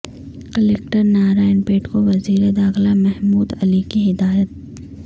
collector Narayanpet کو وزیر داخلہ محمود علی کی ہدایت